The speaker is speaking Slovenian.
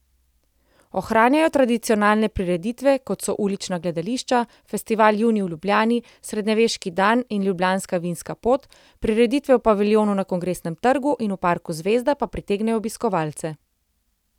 Ohranjajo tradicionalne prireditve, kot so ulična gledališča, festival Junij v Ljubljani, Srednjeveški dan in Ljubljanska vinska pot, prireditve v paviljonu na Kongresnem trgu in v parku Zvezda pa pritegnejo obiskovalce.